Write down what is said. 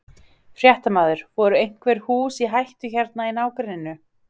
Fréttamaður: Voru einhver hús í hættu hérna í nágrenninu?